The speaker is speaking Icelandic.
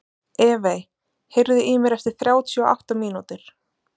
Evey, heyrðu í mér eftir þrjátíu og átta mínútur.